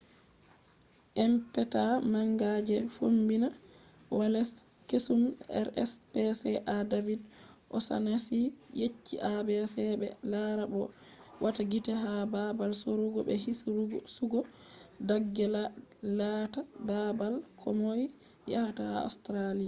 inpecta manga je fombina wales kesum rspca david o'shannessy yecci abc be lara bo be wata gite ha babal sorrugo be hirsugo dagge laata babal komoi yahata ha australia